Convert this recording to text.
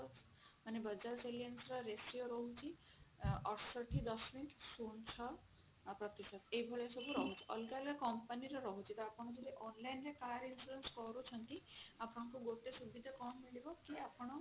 ମାନେ bajaj alliance ର ratio ରହୁଛି ଅଠଷଠି ଦଶମିକ ଶୂନ ଛଅ ପ୍ରତିଶତ ଏଇ ଭଳିଆ ସବୁ ରହୁଛି ଅଲଗା ଅଲଗା company ର ରହୁଛି ଟା ଆପଣ ଯଦି online ରେ car insurance କରୁଛନ୍ତି ଆପଣଙ୍କୁ ଗୋଟେ ସୁବିଧା କଣ ମିଳିବ କି ଆପଣ